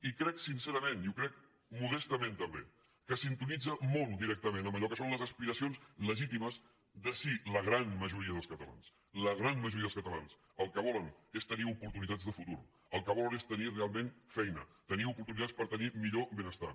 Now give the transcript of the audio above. i crec sincerament i ho crec modestament també que sintonitza molt directament amb allò que són les as·piracions legítimes de sí la gran majoria dels cata·lans la gran majoria dels catalans el que volen és tenir oportunitats de futur el que volen és tenir realment feina tenir oportunitats per tenir millor benestar